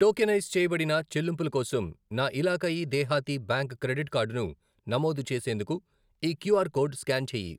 Tokenise చేయబడిన చెల్లింపుల కోసం నా ఇలాకాయి దెహాతీ బ్యాంక్ క్రెడిట్ కార్డు ను నమోదు చేసేందుకు ఈ క్యూఆర్ కోడ్ స్కాన్ చేయి.